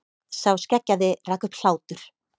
Sá skeggjaði rak upp hlátur.